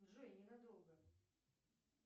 джой ненадолго